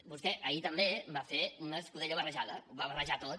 vostè ahir també va fer una escudella barrejada ho va barrejar tot